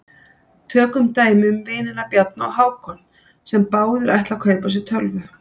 Tökum dæmi um vinina Bjarna og Hákon sem báðir ætla að kaupa sér tölvu.